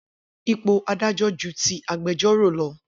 Ipò adájọ́ ju ti agbejọ́rò lọ.